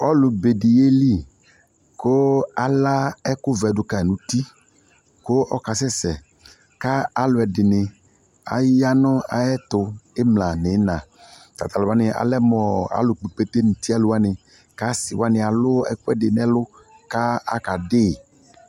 Ɔlu be de yeli ko ala ɛkubɔ do kai nuti kp ɔkasɛsɛ ka aluɛde ne aya na yeto imla no ina Alu wana alɛ mɔɔ alu kpɔ ikpete nuti alu wane ka ase wane alu ɛkuɛde nɛlu ka aka dei